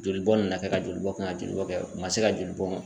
Joli bɔ na kɛ, ka joli bɔ kɛ, ka joli bɔ kɛ u ma se ka joli bɔ